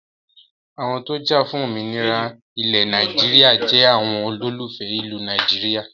Àwọn tó jafun òmìnira ilẹ̀ Nàìjíríà jẹ àwọn olólùfẹ́ ìlú Nàìjíríà